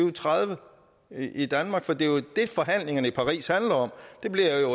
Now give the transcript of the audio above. og tredive i danmark det er jo det forhandlingerne i paris handler om det bliver jo